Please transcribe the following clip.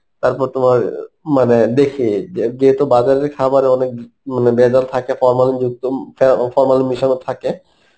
তারপর তোমার মানে দেখি যে~ যেহুতু বাজারের খাবারের অনেক উম মানে ভেজাল থাকে formalin যুক্ত হয় এবং formalin মেশানো থাকে